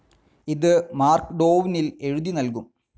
ഇത് മാർക്‌ഡോവ്‌നിൽ എഴുതി നൽകും.